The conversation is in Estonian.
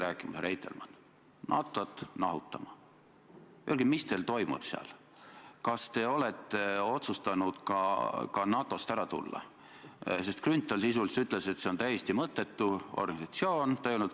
Ja muidugi täiesti kummaline ja absurdne on see, et opositsioon, teie sõnastuse järgi, peaks hakkama katsetama – ja see oli teie täpne sõnastus – prokuratuuri sõltumatust sellega, et algatama peaministri vastu, ma saan aru, kriminaalasja.